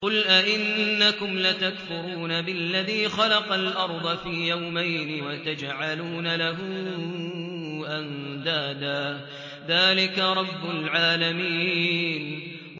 ۞ قُلْ أَئِنَّكُمْ لَتَكْفُرُونَ بِالَّذِي خَلَقَ الْأَرْضَ فِي يَوْمَيْنِ وَتَجْعَلُونَ لَهُ أَندَادًا ۚ ذَٰلِكَ رَبُّ الْعَالَمِينَ